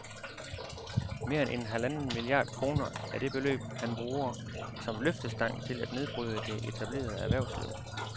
Mere end halvanden milliard kroner er det beløb, han bruger som løftestang til at nedbryde det etablerede erhvervsliv